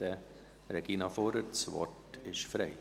Bitte, Regina Fuhrer, das Wort ist frei.